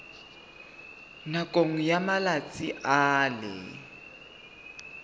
nakong ya malatsi a le